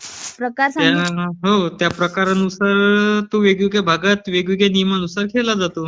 हो. त्या प्रकारानुसार तो वेगवगेळ्या भागात वेगवेगळ्या नियमानुसार खेळला जातो.